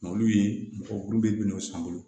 olu ye mɔgɔ kuru bɛɛ bina o san bolo